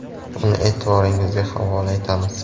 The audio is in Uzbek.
Uni e’tiboringizga havola etamiz.